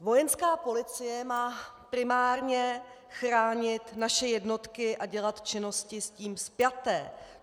Vojenská policie má primárně chránit naše jednotky a dělat činnosti s tím spjaté.